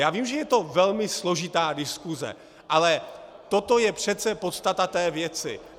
Já vím, že je to velmi složitá diskuse, ale toto je přece podstata té věci.